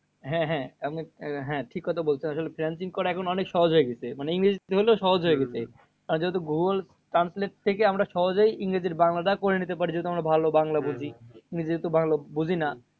হ্যাঁ হ্যাঁ আপনি হ্যাঁ ঠিক কথা বলেছেন। আসলে freelancing করা এখন অনেক সহজ হয়ে গেছে। মানে ইংরেজিতে হলেও সহজ হয়ে গেছে। আর যেহেতু গুগুল translate থেকে আমরা সহজেই ইংরেজির বাংলাটা করে নিতে পারি যেহেতু আমরা ভালো বাংলা বুঝি। আমি যেহেতু বাংলা বুঝিনা